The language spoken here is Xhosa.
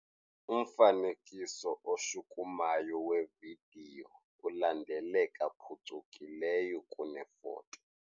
Umfanekiso oshukumayo wevidiyo ulandeleka phucukileyo kunefoto.